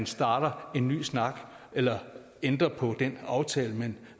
starte en ny snak eller ændre på den aftale man